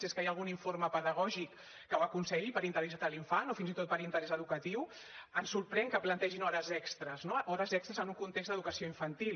és que hi ha algun informe pedagògic que ho aconselli per interès de l’infant o fins i tot per interès educatiu ens sorprèn que plantegin hores extres no hores extres en un context d’educació infantil